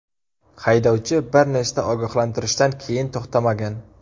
Haydovchi bir nechta ogohlantirishdan keyin to‘xtamagan.